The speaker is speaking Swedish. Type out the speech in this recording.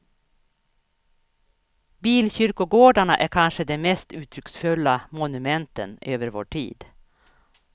Bilkyrkogårdarna är kanske de mest uttrycksfulla monumenten över vår tid.